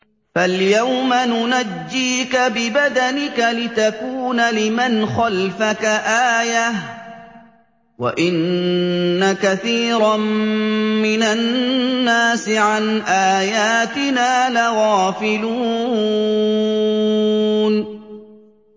فَالْيَوْمَ نُنَجِّيكَ بِبَدَنِكَ لِتَكُونَ لِمَنْ خَلْفَكَ آيَةً ۚ وَإِنَّ كَثِيرًا مِّنَ النَّاسِ عَنْ آيَاتِنَا لَغَافِلُونَ